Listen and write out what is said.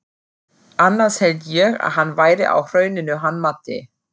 Annars hélt ég að hann væri á Hrauninu hann Matti.